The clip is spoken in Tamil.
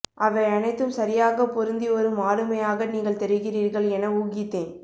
அவை அனைத்தும் சரியாக பொருந்திவரும் ஆளுமையாக நீங்கள் தெரிகிறீர்கள் என ஊகித்தேன்